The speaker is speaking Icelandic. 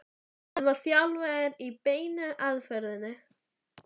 hann var þjálfaður í beinu aðferðinni.